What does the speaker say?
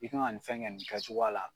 I kan ka nin fɛn kɛ nin kɛcogoya la.